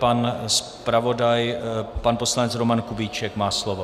Pan zpravodaj, pan poslanec Roman Kubíček, má slovo.